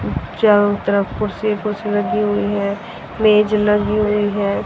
चारों तरफ कुर्सी कुर्सी लगी हुई है मेज लगी हुई है।